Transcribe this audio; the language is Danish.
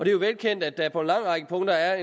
jo velkendt at der på en lang række punkter er